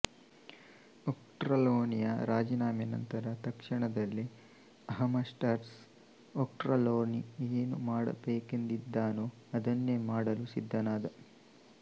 ಒಕ್ಟ್ರರ್ಲೊನಿಯ ರಾಜಿನಾಮೆ ನಂತರ ತಕ್ಷಣದಲ್ಲೇ ಅಮಹರ್ಸ್ಟ್ ಒಕ್ಟ್ರರ್ಲೊನಿ ಏನು ಮಾಡಬೇಕೆಂದಿದ್ದನೋ ಅದನ್ನೇ ಮಾಡಲು ಸಿದ್ದನಾದ